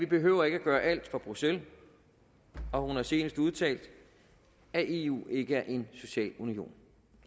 behøver at gøre alt fra bruxelles og hun har senest udtalt at eu ikke er en social union